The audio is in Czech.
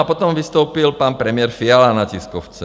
A potom vystoupil pan premiér Fiala na tiskovce.